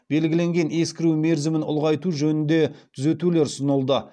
белгіленген ескіру мерзімін ұлғайту жөнінде түзетулер ұсынылды